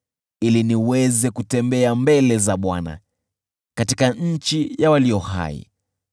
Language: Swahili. ili niweze kutembea mbele za Bwana , katika nchi ya walio hai.